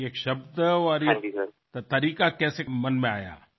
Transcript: हा शब्द ही पद्धत आहे ती कशी मनात आली